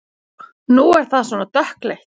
Nú er það svona dökkleitt!